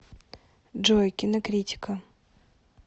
джой кинокритика